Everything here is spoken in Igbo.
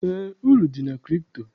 Eé, uru dị na kripto.